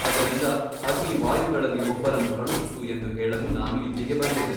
ಅದರಿಂದ ಅಗ್ನಿವಾಯುಗಳಲ್ಲಿ ಒಬ್ಬರನ್ನು ಕಳುಹಿಸು ಎಂದು ಹೇಳಲು ನಾನು ಇಲ್ಲಿಗೆ ಬಂದೆನು.